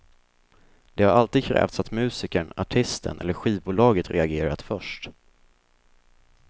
Det har alltid krävts att musikern, artisten eller skivbolaget reagerat först.